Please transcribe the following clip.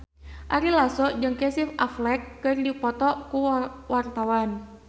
Ari Lasso jeung Casey Affleck keur dipoto ku wartawan